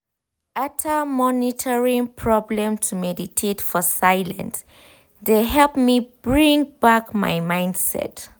ater monitoring problem to meditate for silence de helped me bring back my mindset.